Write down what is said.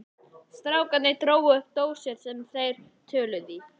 Strákarnir drógu upp dósir sem þeir töluðu í.